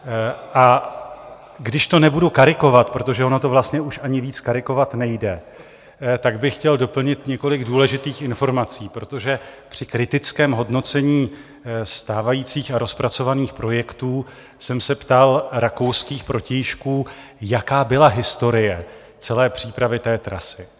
A když to nebudu karikovat, protože ono to vlastně už ani víc karikovat nejde, tak bych chtěl doplnit několik důležitých informací, protože při kritickém hodnocení stávajících a rozpracovaných projektů jsem se ptal rakouských protějšků, jaká byla historie celé přípravy té trasy.